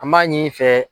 An b'a ɲini i fɛ